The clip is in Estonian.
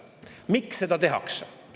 Miks seda tehakse?